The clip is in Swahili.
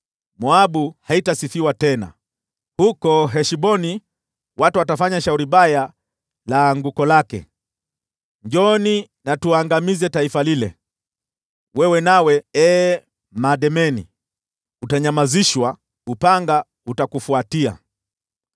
Moabu haitasifiwa tena; huko Heshboni watu watafanya shauri baya la anguko lake: ‘Njooni na tuangamize taifa lile.’ Wewe nawe, ee Madmena, utanyamazishwa; upanga utakufuatia.